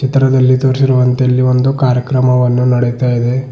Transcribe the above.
ಚಿತ್ರದಲ್ಲಿ ತೋರಿಸಿರುವಂತೆ ಇಲ್ಲಿ ಒಂದು ಕಾರ್ಯಕ್ರಮವನ್ನು ನಡೆಯತ್ತಾ ಇದೆ.